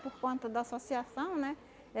Por conta da associação, né?